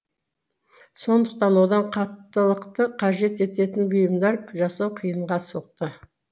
сондықтан одан қаттылықты қажет етеін бұйымдар жасау қиынға соқты